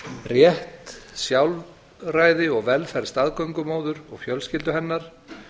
rétt sjálfræði og velferð staðgöngumóður og fjölskyldu hennar